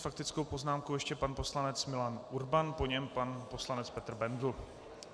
S faktickou poznámkou ještě pan poslanec Milan Urban, po něm pan poslanec Petr Bendl.